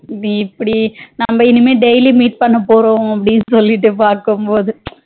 நம்ம இனிமே daily meet பண்ண போறோம் அப்டினு சொல்லிட்டு பாக்கும்போது